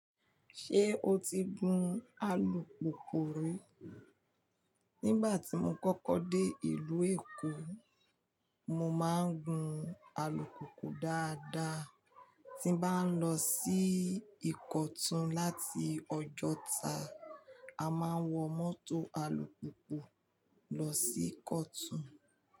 Ṣé o ti gun alùpùpù rí? Nígbà tí mo kọ́kọ́ dé ìlú Èkó, mo máa ń gun alùpùpù dáadáa. Tí m bá ń lọ sí Ìkọ̀tún láti Ọjọ́ta, a máa ń wọ mọ́tò alùpùpù lọ sí Ìkọ̀tún.